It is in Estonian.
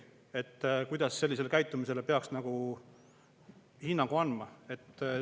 Kuidas sellisele käitumisele peaks hinnangu andma?